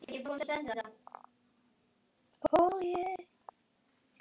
Hefurðu vitni að því?